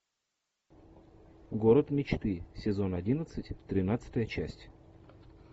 город мечты сезон одиннадцать тринадцатая часть